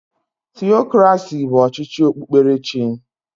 Theokraci bụ ọchịchị okpukperechi.